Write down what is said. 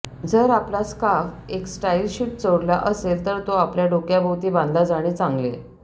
जर आपला स्कार्फ एक स्टाईलशीट चोरला असेल तर तो आपल्या डोक्याभोवती बांधला जाणे चांगले